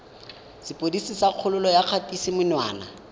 sepodisi sa kgololo ya kgatisomenwa